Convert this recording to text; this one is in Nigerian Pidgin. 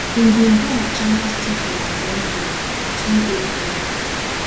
im bin do wit channels tv on monday 2 april